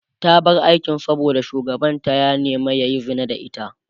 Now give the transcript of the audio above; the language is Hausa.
ta bar aikin saboda shugabanta ya nema yayi Zina da ita